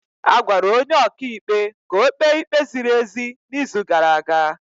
A gwara onye ọka ikpe ka ọ kpee ikpe ziri ezi n'izu gara aga.